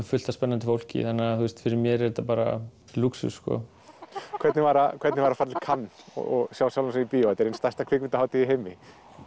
fullt af spennandi fólki fyrir mér er þetta bara lúxus hvernig var hvernig var að fara til Cannes og sjá sjálfan sig í bíó þetta er ein stærsta kvikmyndahátíð í heimi